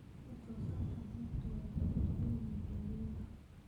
Wax soo saarka beertu way kala duwan yihiin xilliyada.